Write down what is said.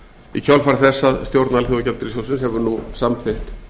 í kjölfar þess að stjórn alþjóðagjaldeyrissjóðsins hefur nú samþykkt